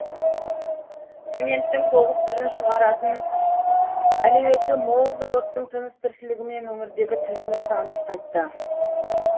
цементтің тоғыз түрін шығаратын әлеуеті мол зауыттың тыныс тіршілігімен өңірдегі тілшіміз танысып қайтты